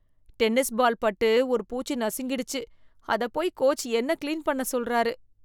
Tennis ball பட்டு ஒரு பூச்சி நசுங்கிடுச்சு, அதப் போய் கோச் என்னக் கிளீன் பண்ண சொல்றாரு.